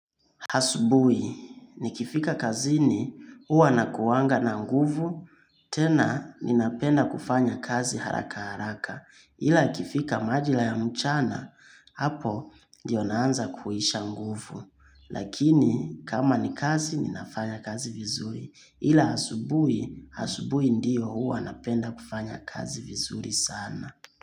Hasubui, nikifika kazini, uwa nakuwanga na nguvu, tena ninapenda kufanya kazi haraka haraka, ila ikifika majila ya mchana, hapo ndiyo naanza kuisha nguvu, lakini kama nikazi ninafanya kazi vizuri, ila asubui, asubui ndiyo uwa napenda kufanya kazi vizuri sana.